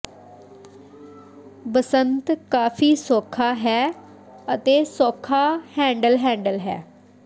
ਬਸੰਤ ਕਾਫ਼ੀ ਸੌਖਾ ਹੈ ਅਤੇ ਸੌਖਾ ਹੈਂਡਲ ਹੈਂਡਲ ਹੈ